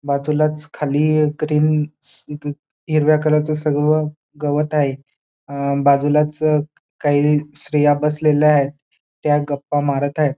बाजूलाच खाली क्रीम्स हिरव्या कलरचं सर्व गवत आहे बाजूलाच काही स्त्रिया बसलेल्या आहेत त्या गप्पा मारत आहे.